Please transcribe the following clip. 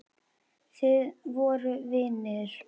Þið voruð vinir.